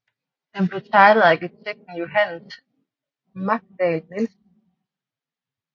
Den blev tegnet af arkitekten Johannes Magdahl Nielsen